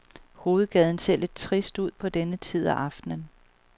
Hovedgaden ser lidt trist ud på denne tid af aftenen.